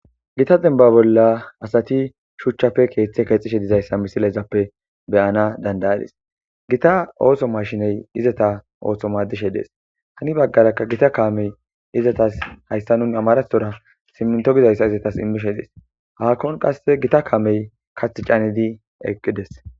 Gita zemba bolla asati shuchchafe keeththe keexishe dizayssa misilaizappe beyana dandayadis gita ooso mashiney izata oosho madishe dees hani baggarakka gita kaamey izatas hayssa nun amaraora simminto bizayssa izatas immishe dees haakkon qasse gita kaamey kath caanidi eqqides.